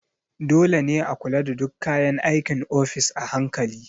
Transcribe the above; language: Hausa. Dole ne a kula da duk kayan aikin ofis a hankali.